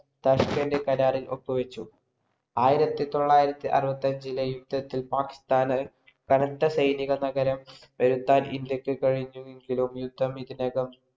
Tashkent കരാരിൽ പങ്കുവച്ചു. ആയിരത്തി തൊള്ളായിരത്തി അറുപത്തി അഞ്ചിലെ യുദ്ധത്തിൽ പാകിസ്ഥാന് കനത്തസൈനിക നഗരം ഇന്ത്യക്ക് കഴിഞ്ഞെങ്കിലും യുദ്ധം ഇതിനകം